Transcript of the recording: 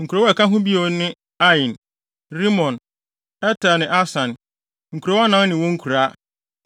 Nkurow a ɛka ho bio ne Ain, Rimon, Eter ne Asan, nkurow anan ne wɔn nkuraa,